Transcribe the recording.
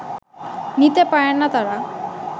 নিতে পারেন না তারা